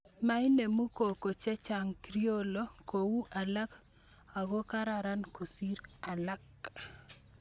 Mainemu koko chechang Criollo kou alak ako karan kosir alak